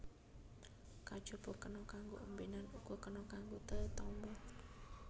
Kajaba kena kanggo ombènan uga kena kanggo tetamba